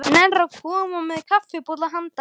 Nennirðu að koma með kaffibolla handa henni